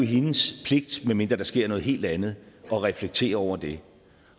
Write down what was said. hendes pligt medmindre der sker noget helt andet at reflektere over det